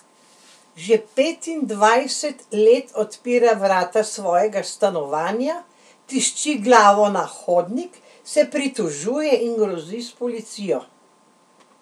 Že petindvajset let odpira vrata svojega stanovanja, tišči glavo na hodnik, se pritožuje in grozi s policijo.